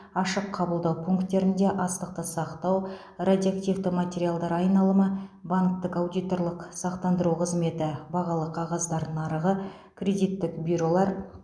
ашық қабылдау пункттерінде астықты сақтау радиоактивті материалдар айналымы банктік аудиторлық сақтандыру қызметі бағалы қағаздар нарығы кредиттік бюролар